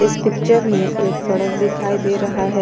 इस पिक्चर में एक सड़क दिखाई दे रहा है।